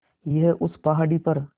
यहीं उस पहाड़ी पर